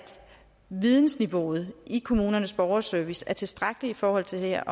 vidensniveauet i kommunernes borgerservice er tilstrækkeligt i forhold til det her